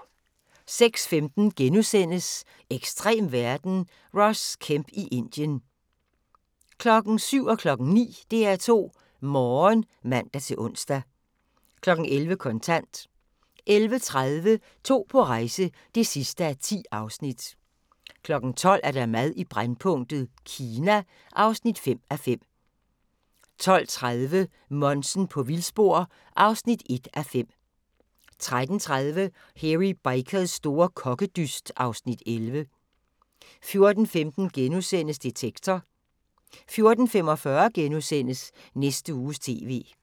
06:15: Ekstrem verden – Ross Kemp i Indien * 07:00: DR2 Morgen (man-ons) 09:00: DR2 Morgen (man-ons) 11:00: Kontant 11:30: To på rejse (10:10) 12:00: Mad i brændpunktet: Kina (5:5) 12:30: Monsen på vildspor (1:5) 13:30: Hairy Bikers store kokkedyst (Afs. 11) 14:15: Detektor * 14:45: Næste Uges TV *